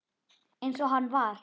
Eins og hann var.